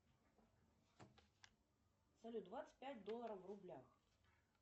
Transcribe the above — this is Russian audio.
салют двадцать пять долларов в рублях